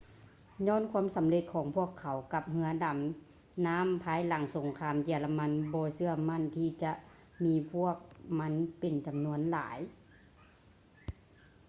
ຍ້ອນຄວາມສຳເລັດຂອງພວກເຂົາກັບເຮຶອດໍານໍ້າພາຍຫຼັງສົງຄາມເຢຍລະມັນບໍ່ເຊື່ອໝັ້ນທີ່ຈະມີພວກມັນເປັນຈຳນວນຫຼາຍ